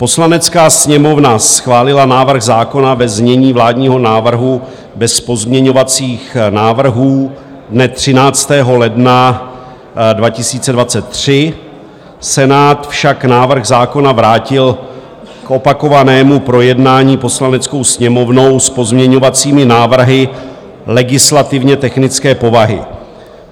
Poslanecká sněmovna schválila návrh zákona ve znění vládního návrhu bez pozměňovacích návrhů dne 13. ledna 2023, Senát však návrh zákona vrátil k opakovanému projednání Poslaneckou sněmovnou s pozměňovacími návrhy legislativně technické povahy.